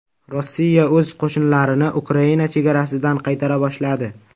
Rossiya o‘z qo‘shinlarini Ukraina chegarasidan qaytara boshladi.